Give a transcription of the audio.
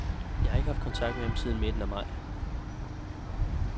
Jeg har ikke haft kontakt med ham siden midten af maj.